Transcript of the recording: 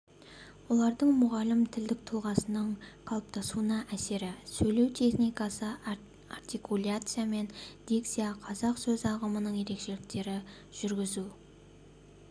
олардың мұғалім тілдік тұлғасының қалыптасуына әсері сөйлеу техникасы артикуляция мен дикция қазақ сөз ағымының ерекшеліктері жүргізу